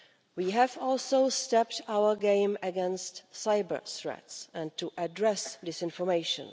We have also stepped up our game against cyber-threats and to address disinformation.